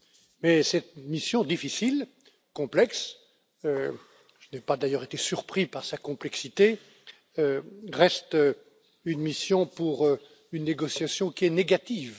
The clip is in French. Mais cette mission difficile, complexe je n'ai pas d'ailleurs été surpris par sa complexité reste une mission pour une négociation qui est négative.